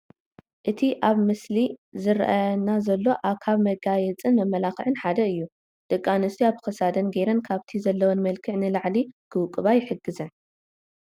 እቲ ኣብቲ ምስሊ ዝራኣየና ዘሎ ካብ ናይ መጋየፅን መመላኽዕን ሓደ እዩ፡፡ ደቂ ኣንስትዮ ኣብ ክሳደን ገይረን ካብቲ ዘለወን መልክዕ ንላዕሊ ክውቅባ ይሕግዘን፡፡